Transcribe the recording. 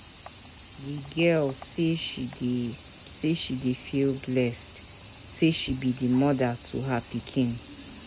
The girl say she dey say she dey feel blessed sey she be moda to her pikin.